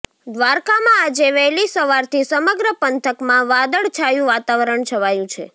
દ્વારકામાં આજે વહેલી સવારથી સમગ્ર પંથકમાં વાદળ છાયું વાતાવરણ છવાયું છે